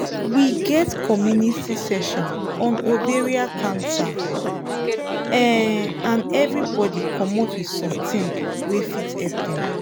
we get community session on ovarian cancer um and everybody commot with something wey fit help dem